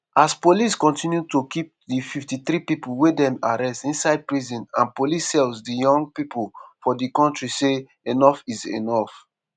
as police continue to keep di 53 pipo wey dem arrest inside prison and police cells di young pipo for di kontri say #enoughisenough.